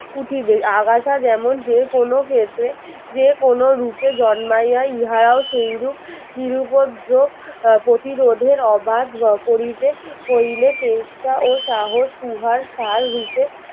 উঠিবে আগাছা যেমন যেকোনো ক্ষেত্রে যেকোনো রূপে জন্মাইয়া ইহারাও সেইরূপ নিরুপদ্রোপ আহ প্রতিরোধের অবাধ গ~করিতে হইলে চেষ্টা ও সাহস উহার সার রূপে